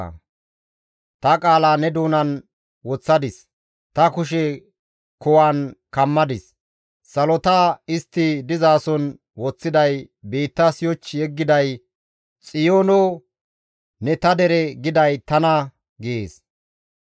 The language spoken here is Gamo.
Tani ta qaala ne doonan woththadis; ta kushe kuwan kammadis; salota istti dizason woththiday, biittas yoch yeggiday, Xiyoono, ‹Ne ta dere› giday Tana» gees.